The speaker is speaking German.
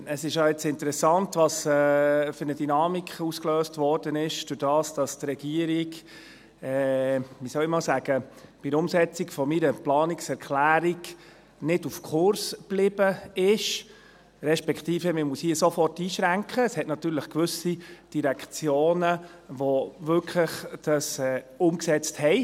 Es ist interessant, welche Dynamik dadurch ausgelöst wurde, dass die Regierung bei der Umsetzung meiner Planungserklärung nicht auf Kurs geblieben ist, beziehungsweise – man muss hier sofort einschränken – es gibt natürlich gewisse Direktionen, die sie wirklich umgesetzt haben.